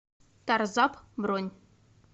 тарзап бронь